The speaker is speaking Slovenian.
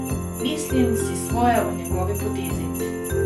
Mislim si svoje o njegovi potezi.